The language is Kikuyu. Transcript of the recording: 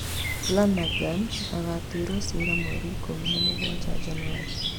Flanagan agatuĩrwo ciira mweri ikũmi na mũgwanja Janũarĩ